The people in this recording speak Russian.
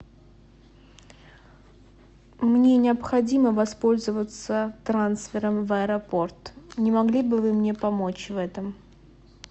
мне необходимо воспользоваться трансфером в аэропорт не могли бы вы мне помочь в этом